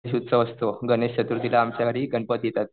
उत्सव असतो गणेश चतुर्थीला आमच्या घरी गणपती येतात.